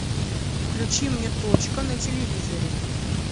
включи мне точка на телевизоре